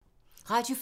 Radio 4